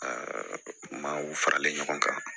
Aa maaw faralen ɲɔgɔn kan